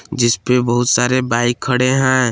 जिसपे बहुत सारे बाइक खड़े हैं।